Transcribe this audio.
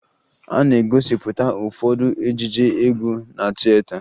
A na-egosipụta ụfọdụ ejije egwu na tieta